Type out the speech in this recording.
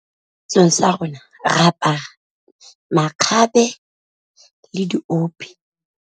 Setsong sa rona re apara makgabe le diope.